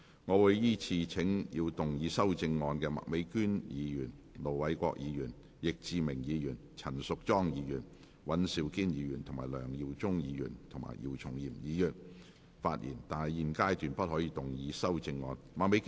我會依次請要動議修正案的麥美娟議員、盧偉國議員、易志明議員、陳淑莊議員、尹兆堅議員、梁耀忠議員及姚松炎議員發言；但他們在現階段不可動議修正案。